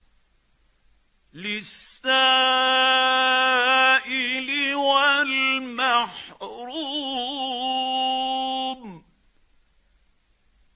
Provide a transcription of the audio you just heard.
لِّلسَّائِلِ وَالْمَحْرُومِ